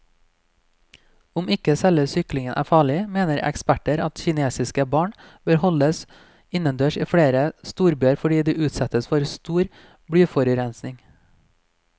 Om ikke selve syklingen er farlig, mener eksperter at kinesiske barn bør holdes innendørs i flere storbyer fordi de utsettes for stor blyforurensning.